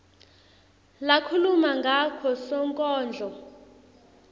lakhuluma ngako sonkondlo